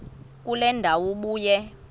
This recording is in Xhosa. kule ndawo ubuye